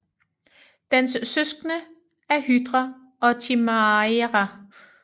Dens søskende er Hydra og Chimaira